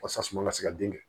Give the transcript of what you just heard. Wasa suma ka se ka den kɛ